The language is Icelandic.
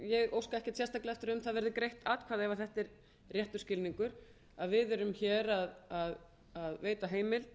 óska ekkert sérstaklega eftir að um það verði greitt atkvæði ef þetta er réttur skilningur að við erum að veita heimild